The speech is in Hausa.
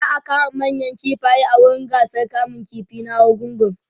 za'a kama manayan kifaye a wurin gasar kamun ƙifi na argungu